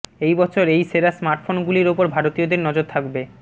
এই বছর এই সেরা স্মার্টফোন গুলির ওপর ভারতীয়দের নজর থাকবে